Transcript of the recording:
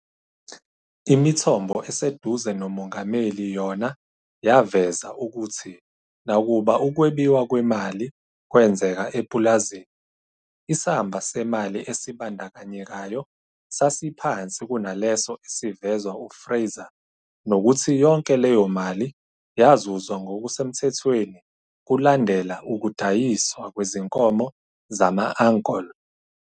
Imithombo eseduze nomengameli yona yaveza ukuthi nakuba ukwebiwa kwemali kwenzeka epulazini, isamba semali esibandakanyekayo sasiphansi kunaleso esivezwa uFraser nokuthi yonke leyomali yazuzwa ngokusemthethweni kolundela ukudayiswa kwezinkomo zama-ankole.